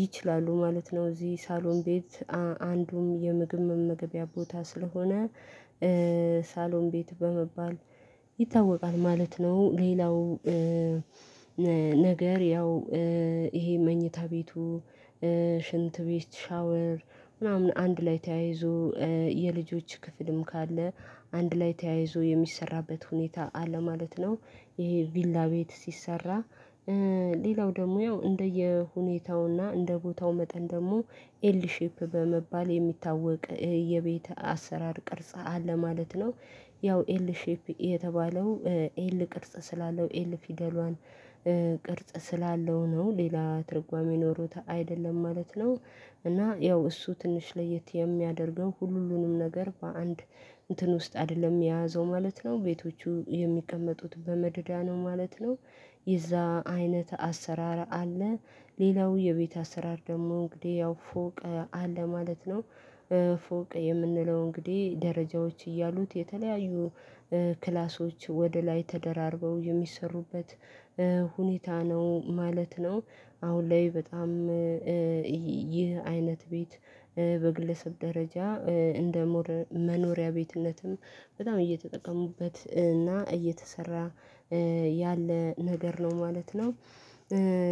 ይችላሉ ማለት ነው እዚህ ሳሎን ቤት አንዱም የምግብ መመገቢያ ቦታ ስለሆነ ሳሎን ቤት በመባል ይታወቃል ማለት ነው። ሌላው ነገር ያው ይሄ መኝታ ቤቱ ሽንት ቤት ሻወር ምናምን አንድ ላይ ተያይዞ የልጆች ክፍልም ካለ አንድ ላይ ተያይዞ የሚሰራበት ሁኔታ አለ ማለት ነው። ይሄ ቪላ ቤት ሲሰራ ሌላው ደግሞ ያው እንደየሁኔታውና እንደቦታው መጠን ደግሞ ኤል ሼፕ በመባል የሚታወቅ የቤት አሰራር ቅርጽ አለ ማለት ነው። ያው ኤል ሼፕ የተባለው ኤል ቅርጽ ስላለው ኤል ፊደሏን ቅርጽ ስላለው ነው ሌላ ትርጓሜ ኖሮት አይደለም ማለት ነው። እና ያው እሱ ትንሽ ለየት የሚያደርገው ሁሉንም ነገር በአንድ እንትን ውስጥ አይደለም የያዘው ማለት ነው ቤቶቹ የሚቀመጡት በመደዳ ነው ማለት ነው። የዛ አይነት አሰራር አለ ሌላው የቤት አሰራር ደግሞ እንግዲህ ያው ፎቅ አለ ማለት ነው። ፎቅ የምንለው እንግዲህ ደረጃዎች እያሉት የተለያዩ ክላሶች ወደ ላይ ተደራርበው የሚሰሩበት ሁኔታ ነው ማለት ነው። አሁን ላይ በጣም ይህ አይነት ቤት በግለሰብ ደረጃ እንደ መኖሪያ ቤትነትም በጣም እየተጠቀሙበት እና እየተሰራ ያለ ነገር ነው ማለት ነው።